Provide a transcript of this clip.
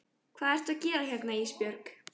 Hvað ertu að gera hérna Ísbjörg?